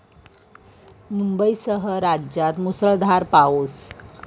मुंबईसह राज्यात मुसळधार पाऊस